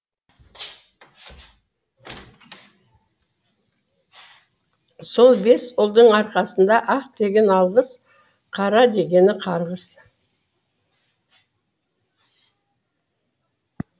сол бес ұлдың арқасында ақ дегені алғыс қара дегені қарғыс